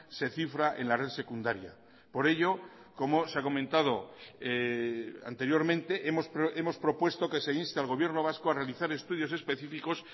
se cifra en la red secundaria por ello como se ha comentado anteriormente hemos propuesto que se inste al gobierno vasco a realizar estudios específicos